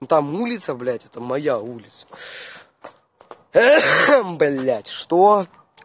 но там улица блять это моя улица блять что